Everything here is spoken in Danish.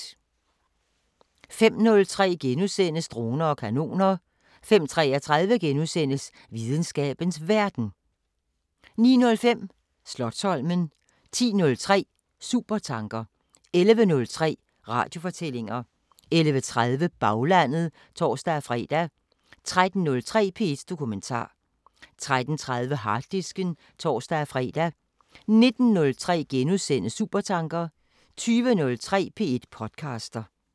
05:03: Droner og kanoner * 05:33: Videnskabens Verden * 09:05: Slotsholmen 10:03: Supertanker 11:03: Radiofortællinger 11:30: Baglandet (tor-fre) 13:03: P1 Dokumentar 13:30: Harddisken (tor-fre) 19:03: Supertanker * 20:03: P1 podcaster